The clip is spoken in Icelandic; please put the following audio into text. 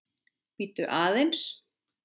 Bíddu aðeins